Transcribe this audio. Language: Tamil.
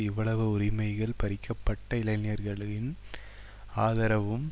இவ்வளவு உரிமைகள் பறிக்க பட்ட இளைஞர்களின் ஆதரவும்